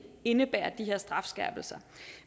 indebærer altså de her strafskærpelser